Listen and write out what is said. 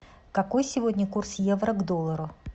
какой сегодня курс евро к доллару